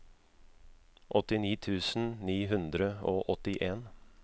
åttini tusen ni hundre og åttien